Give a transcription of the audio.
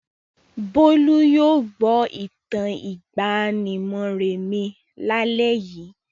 Bólú yóò gbọ́ ìtàn ìgbàanì Moremi lálẹ́ yìí.